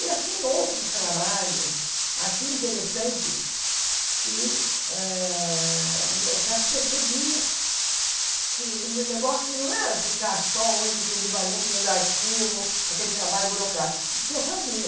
E, assim, outros trabalhos assim interessantes que ah o meu chefe percebia que o meu negócio não era ficar só, única, exclusivamente vendo arquivo, aquele trabalho burocrático, que eu fazia.